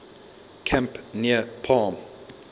camp near palm